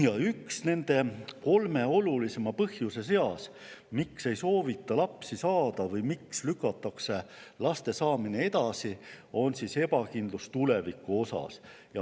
Ja üks nende kolme olulisema põhjuse seas, miks ei soovita lapsi saada või miks lükatakse laste saamine edasi, on ebakindlus tuleviku suhtes.